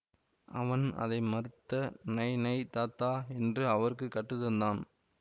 அவன் அதை மறுத்து நை நை தாதா என்று அவருக்கு கற்று தந்தான்